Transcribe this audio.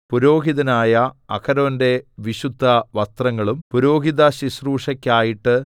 പുരോഹിതനായ അഹരോന്റെ വിശുദ്ധവസ്ത്രങ്ങളും പുരോഹിതശുശ്രൂഷയ്ക്കായിട്ട്